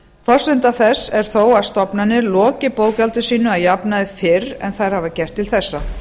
forsenda þess er þó að stofnanir loki bókhaldi sínu að jafnaði fyrr en þær hafa gert til þessa